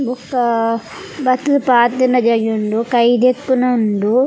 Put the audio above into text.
ಬೊಕ್ಕ ಬತ್ತುದ್ ಪಾತೆರ್ನ ಜಾಗೆ ಉಂಡು ಕೈಗೆದ್ಕುನ ಉಂಡು.